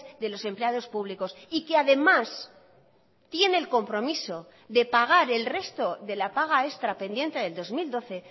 de los empleados públicos y que además tiene el compromiso de pagar el resto de la paga extra pendiente del dos mil doce